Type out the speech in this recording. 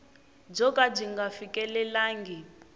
byo ka byi nga fikelelangi